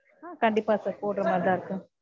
ஆஹ் கண்டிப்பா sir போடுரமாதிரிதான் sir இருக்கோம்